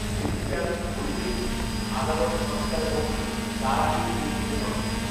এদিকে আমি ঘড়ি দেখছি, আদালত পাঁচটায় বন্ধ, তার আগেই পৌঁছতে হবে